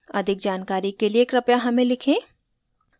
अधिक जानकारी के लिए कृपया हमें लिखें